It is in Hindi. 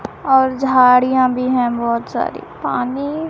और झाड़ियां भी हैं बहुत सारी पानी--